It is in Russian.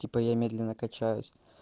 типа я медленно качаюсь